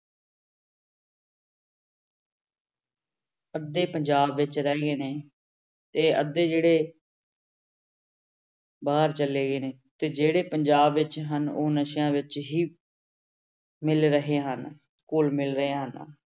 ਅੱਧੇ ਪੰਜਾਬ ਵਿੱਚ ਰਹਿ ਗਏ ਨੇ, ਤੇ ਅੱਧੇ ਜਿਹੜੇ ਬਾਹਰ ਚਲੇ ਗਏ ਨੇ, ਤੇ ਜਿਹੜੇ ਪੰਜਾਬ ਵਿੱਚ ਹਨ ਉਹ ਨਸ਼ਿਆਂ ਵਿੱਚ ਹੀ ਮਿਲ ਰਹੇ ਹਨ, ਘੁੱਲ ਮਿਲ ਰਹੇ ਹਨ।